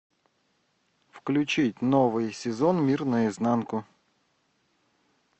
включить новый сезон мир наизнанку